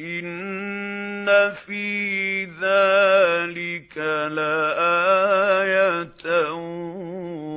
إِنَّ فِي ذَٰلِكَ لَآيَةً ۖ